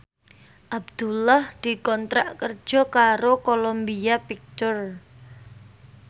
Abdullah dikontrak kerja karo Columbia Pictures